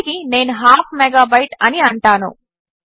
ఇప్పటికి నేను half megabyte అని అంటాను